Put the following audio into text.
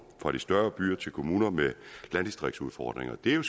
fra de større byer til kommuner med landdistriktsudfordringer det er